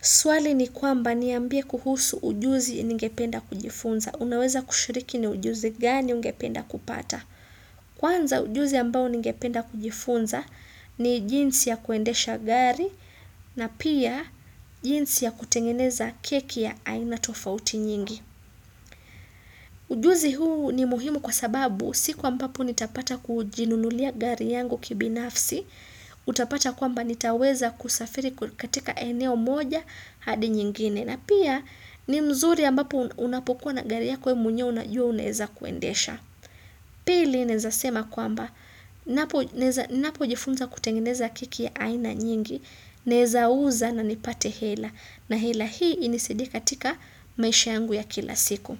Swali ni kwamba niambie kuhusu ujuzi ningependa kujifunza. Unaweza kushiriki ni ujuzi gani ungependa kupata. Kwanza ujuzi ambao ningependa kujifunza ni jinsi ya kuendesha gari na pia jinsi ya kutengeneza keki ya aina tofauti nyingi. Ujuzi huu ni muhimu kwa sababu siku ambapo nitapata kujinululia gari yangu kibinafsi. Utapata kwamba nitaweza kusafiri katika eneo moja hadi nyingine. Na pia ni nzuri ambapo unapokuwa na gari yako wewe mwenyewe unajua unaeza kuendesha. Pili naeza sema kwamba. Ninapojifunza kutengeneza keki ya aina nyingi. Naweza uza na nipate hela. Na hela hii inisadie katika maisha yangu ya kila siku.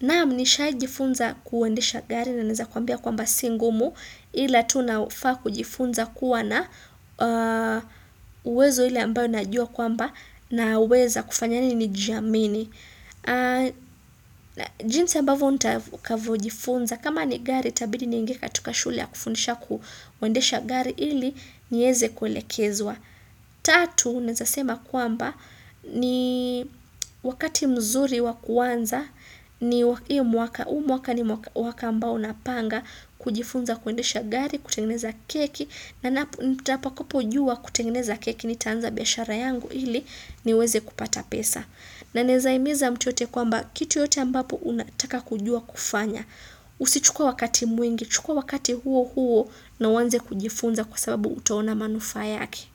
Naam nishajifunza kuendesha gari na naeza kuambia kwamba si ngumu. Ila tunafaa kujifunza kuwa na uwezo ile ambao najua kwamba naweza kufanya nini jameni jinsi ambavyo nitakavyojifunza kama ni gari itabidi niingie katika shule ya kufundisha kuendesha gari ili niweze kuelekezwa tatu naweza kusema kwamba ni wakati mzuri wa kuanza ni huu mwaka huu mwaka ni mwaka ambao napanga kujifunza kuendesha gari, kutengeneza keki na nitapakapojua kutengeneza keki nitaanza biashara yangu ili niweze kupata pesa na ninaweza himiza mtu yote kwamba kitu yote ambapo unataka kujua kufanya usichukue wakati mwingi, chukua wakati huo huo na uanze kujifunza kwa sababu utaona manufaa yake.